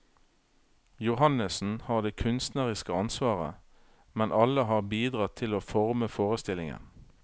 Johannessen har det kunstneriske ansvaret, men alle har bidratt til å forme forestillingen.